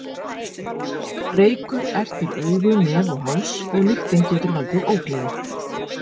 Reykur ertir augu, nef og háls og lyktin getur valdið ógleði.